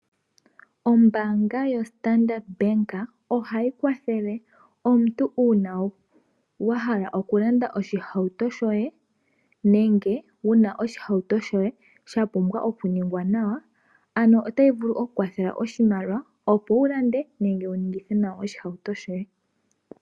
Ombaanga yaStandard Bank ohayi kwathele omuntu uuna wahala oku landa oshihauto shoye nenge wuna oshihauto shoye sha pumbwa oku ningwa nawa, ano otayi vulu oku ku kwathela oshimaliwa, opo wu lande nenge wu ningithe nawa oshihauto shoye.